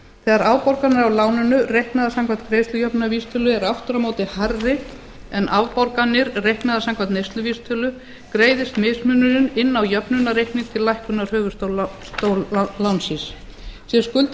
þegar afborganir af láninu reiknaðar samkvæmt greiðslujöfnunarvísitölu eru aftur á móti hærri en afborganir reiknaðar samkvæmt neysluvísitölu greiðist mismunurinn inn á jöfnunarreikning til lækkunar höfuðstóls lánsins sé